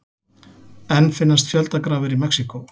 Enn finnast fjöldagrafir í Mexíkó